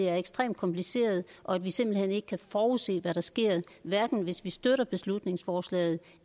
er ekstremt kompliceret og at vi simpelt hen ikke kan forudsige hvad der sker hverken hvis vi støtter beslutningsforslaget